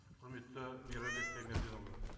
құрметті мейрамбек таймерденұлы